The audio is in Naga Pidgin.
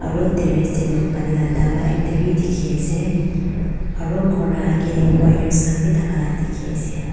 aro terrace tey toh paani la daba ekta will dikhi ase aro ghor la agey tey wires khan bi thaka la dikhiase.